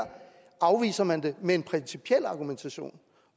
afviser man det med en principiel argumentation